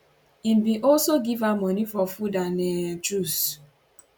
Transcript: im bin also give her money for food and um juice